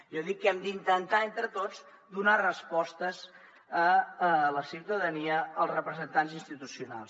jo dic que hem d’intentar entre tots donar respostes a la ciutadania els representants institucionals